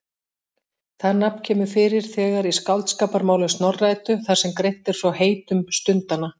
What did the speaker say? Það nafn kemur fyrir þegar í Skáldskaparmálum Snorra-Eddu þar sem greint er frá heitum stundanna.